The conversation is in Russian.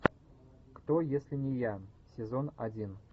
кто если не я сезон один